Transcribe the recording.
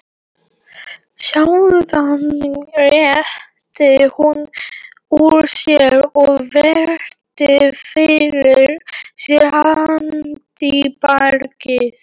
Síðan rétti hún úr sér og virti fyrir sér handbragðið.